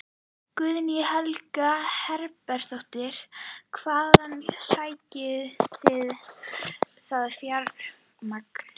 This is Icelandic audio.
Guðný Helga Herbertsdóttir: Hvaðan sækið þið það fjármagn?